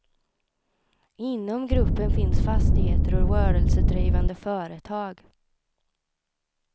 Inom gruppen finns fastigheter och rörelsedrivande företag.